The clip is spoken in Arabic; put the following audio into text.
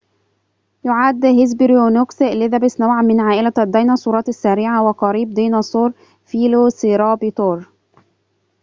يعد هيسبيرونيكوس إليزابيث نوعاً من عائلة الديناصورات السريعة وقريب ديناصور فيلوسيرابتور